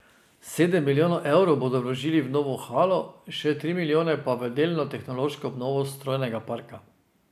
Sedem milijonov evrov bodo vložili v novo halo, še tri milijone pa v delno tehnološko obnovo strojnega parka.